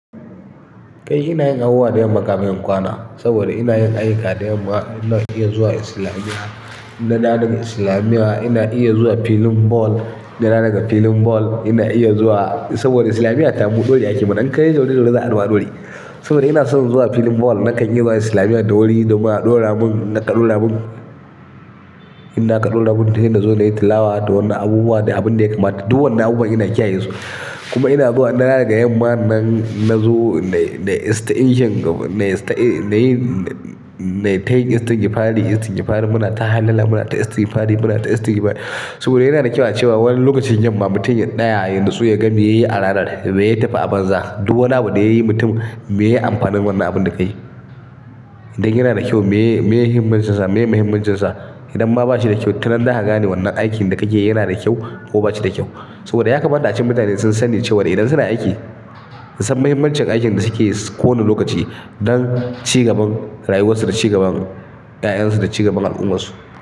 Kai ina yin abubuwa da yamma kafin in kwana, saboda ina yin ayyuka da yamma. Ina iya zuwa islamiya, ina da dawo dagaislamiya, ina iya zuwa filin ball, ina dawo daga filin ball, ina iya zuwa-- saboda islamiya ta mu ɗai a ƙima, in kai ya zaune yanzu ai ɗoi. Saboda ina son zuwa filin ball nakan iya zuwa islamiya da wuri domin a ɗora mun, in a ka ɗora mu. Inda a ka ɗora mu, ina zo nayi tilawa da wannan abubuwa, da abin da ya kamata. Duk wannan abubuwa ina kiyaye su. Kuma ina zuwa ina dawo daga yamma nan, na zo nayi, nayi 'istiji, nayi tay istingifari, istingifari muna ta hallala, muna ta istigifari, muna ta istingifari. Saboda yana da kyau a cewa wani lokacin yamma mutum ya ɗaya yan natsu ya ga me yayi a ranar, me ya tafi a banza. Duk wani abu da yayi mutum, meye amfani wannan abin da kayi? Idan yana da kyau me, meye himmacinsa, meye muhimmancinsa. Idan ma bashi da kyau tun an daka gane wannan aikin da kake yi yana da kyau ko bashi da kyau. Saboda ya kamata a cikin mutane sun sani cewa idan suna aiki, su san mahimmancin aikin da suke yi kowane lokaci don cigaban rayuwarsu, da cigaban 'ya'yansu, da cigaban al'umma su.